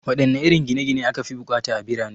Waɗanne irin gine gine ne aka fi bukata a birane?